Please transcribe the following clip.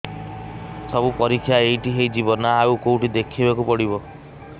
ସବୁ ପରୀକ୍ଷା ଏଇଠି ହେଇଯିବ ନା ଆଉ କଉଠି ଦେଖେଇ ବାକୁ ପଡ଼ିବ